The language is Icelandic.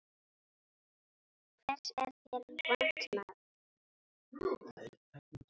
Hvers er þér vant, maður?